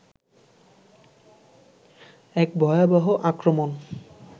'এক ভয়াবহ আক্রমণ'